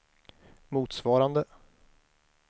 motsvarande